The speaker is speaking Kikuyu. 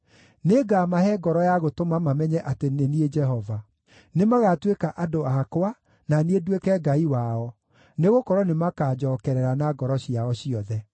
Nĩngamahe ngoro ya gũtũma mamenye atĩ nĩ niĩ Jehova. Nĩmagatuĩka andũ akwa na niĩ nduĩke Ngai wao, nĩgũkorwo nĩmakanjookerera na ngoro ciao ciothe.